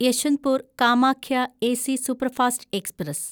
Yesvantpur Kamakhya AC superfast express